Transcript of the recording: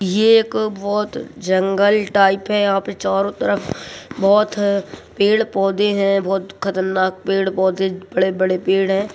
ये एक बहोत जंगल टाइप है यहाँ पे चारों तरफ बहोत -अ पेड़-पौधे हैं बहोत खतरनाक पेड़-पौधे बड़े-बड़े पेड़ हैं।